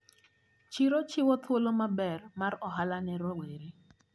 Chiro chiwo thuolo maber mar ohala ne rowere.